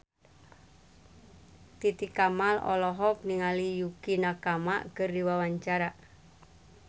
Titi Kamal olohok ningali Yukie Nakama keur diwawancara